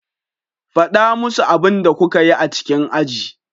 Faɗa musu abin da kuka yi a cikin aji.